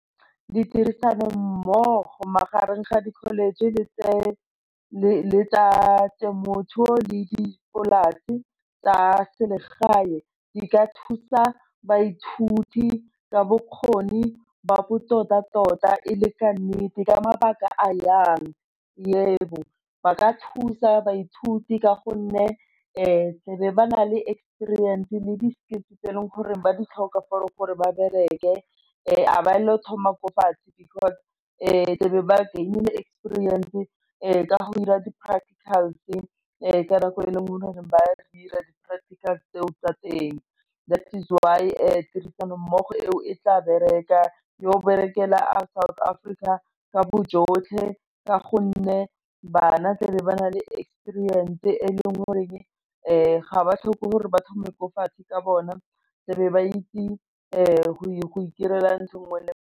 Ditirisano mmogo magareng ga di-college le tsa temothuo le dipolasi tsa selegae di ka thusa baithuti ka bokgoni ba botoka tota e le ka nnete ka mabaka a jang, yebo, ba ka thusa baithuti ka gonne tle be ba na le experience le di-skills tse e leng gore ba di tlhoka, for gore ba bereke ga ba na go thoma ko fatshe because tle be ba gain-ile experience ka go dira di practicals ka nako e e leng gore ba di dira di-practicals tseo tsa teng, that is why tirisano-mmogo eo e tla bereka yo berekela a South Africa ka bojotlhe ka gonne bana tle be ba na le experience e e leng goreng ga ba tlhoke gore ba thome ko fatshe ka bona, tle be ba itse go itirela ntho e nngwe le e nngwe.